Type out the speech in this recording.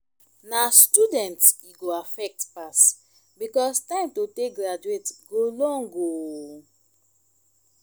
na students e go affect pass because time to take graduate go long o